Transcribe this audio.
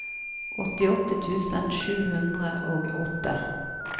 åttiåtte tusen sju hundre og åtte